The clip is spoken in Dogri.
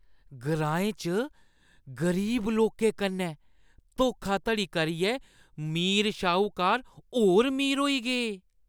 ग्राएं च गरीब लोकें कन्नै धोखाधड़ी करियै अमीर शाहूकार होर अमीर होई गे।